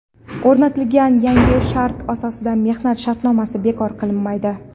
O‘rnatilgan yangi shart asosida mehnat shartnomasi bekor qilinmaydi.